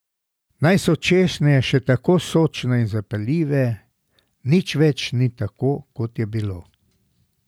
Naj so češnje še tako sočne in zapeljive, nič več ni tako, kot je bilo.